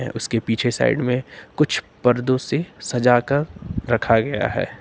उसके पीछे साइड में कुछ पर्दो से सजाकर रखा गया है।